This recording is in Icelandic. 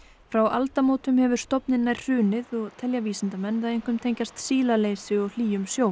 frá aldamótum hefur stofninn nær hrunið og telja vísindamenn það einkum tengjast sílaleysi og hlýjum sjó